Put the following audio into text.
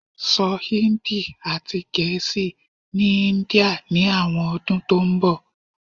so Hindi ati Gẹẹsi ni India ni awọn ọdun to nbọ